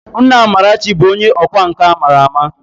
Nna Amarachi bụ onye ọkwá nkà a ma ama